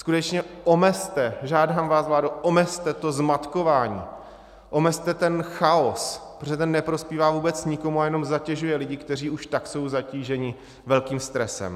Skutečně omezte, žádám vás, vládo, omezte to zmatkování, omezte ten chaos, protože ten neprospívá vůbec nikomu a jenom zatěžuje lidi, kteří už tak jsou zatíženi velkým stresem.